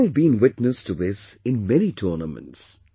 We have all been witness to this in many tournaments